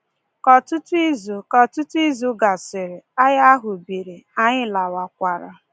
Ka ọtụtụ izu Ka ọtụtụ izu gasịrị, agha ahụ biri, anyị lawakwara.